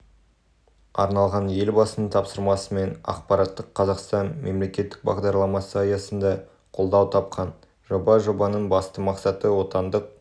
арналған елбасының тапсырмасымен ақпараттық қазақстан мемлекеттік бағдарламасы аясында қолдау тапқан жоба жобаның басты мақсаты отандық